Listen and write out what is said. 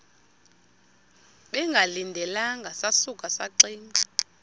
bengalindelanga sasuka saxinga